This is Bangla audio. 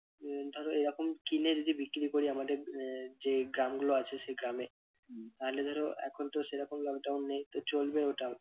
উহ ধরো এরকম কিনে যদি বিক্রি করি আমাদের আহ যে গ্রামগুলো আছে সেই গ্রামে তাহলে ধরো এখন তো সেরকম lockdown নেই তো চলবে ওটা।